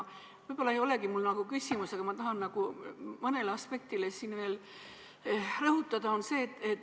Mul ei olegi vast küsimust, aga ma tahan mõnda aspekti veel rõhutada.